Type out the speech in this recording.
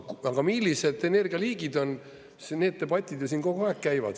Aga millised energialiigid on, need debatid ju siin kogu aeg käivad.